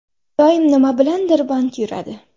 Doim nima bilandir band yuradi.